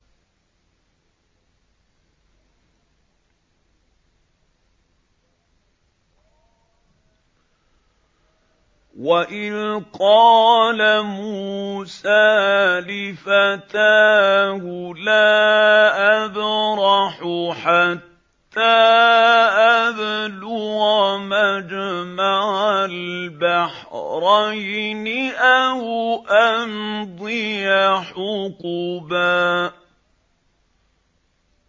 وَإِذْ قَالَ مُوسَىٰ لِفَتَاهُ لَا أَبْرَحُ حَتَّىٰ أَبْلُغَ مَجْمَعَ الْبَحْرَيْنِ أَوْ أَمْضِيَ حُقُبًا